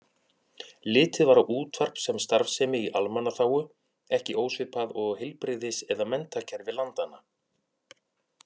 Litið var á útvarp sem starfsemi í almannaþágu, ekki ósvipað og heilbrigðis- eða menntakerfi landanna.